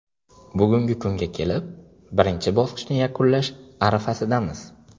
Bugungi kunga kelib, birinchi bosqichni yakunlash arafasidamiz.